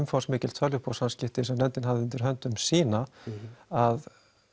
umfangfsmiklu tölvupóstasamskipti sem nefndin hafði undir höndum sýna að